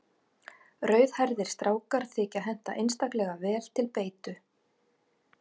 Rauðhærðir strákar þykja henta einstaklega vel til beitu.